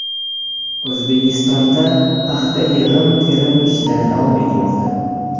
O‘zbekistonda paxta yig‘im-terim ishlari davom etmoqda.